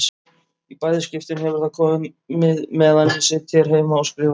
Í bæði skiptin hefur það komið meðan ég sit hér heima og skrifa.